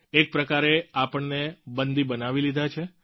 એક પ્રકારે આપણને બંદી બનાવી લીધા છે